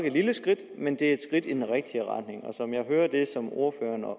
et lille skridt men et skridt i den rigtige retning og som jeg hører det som ordføreren og